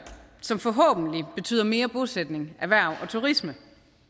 som forhåbentlig betyder mere bosætning erhverv og turisme